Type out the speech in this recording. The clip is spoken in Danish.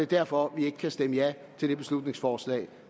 derfor vi ikke kan stemme ja til det beslutningsforslag